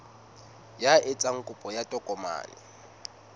ya etsang kopo ya tokomane